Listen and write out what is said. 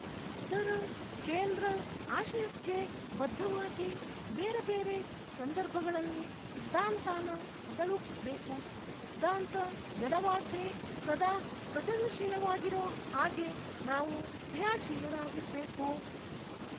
ಅದರ ಕೇಂದ್ರ ಆಶಯಕ್ಕೆ ಬದ್ಧವಾಗಿ ಬೇರೆ ಬೇರೆ ಸಂದರ್ಭಗಳಲ್ಲಿ ಸಿದ್ಧಾಂತಾನ ಬೆಳುಸ್ಬೇಕು ಸಿದ್ಧಾಂತ ಜಡವಾಗ್ದೆ ಸದಾ ಸೃಜನಶೀಲವಾಗಿರೊ ಹಾಗೆ ನಾವು ಕ್ರಿಯಾಶೀಲರಾಗಿರ್ಬೇಕು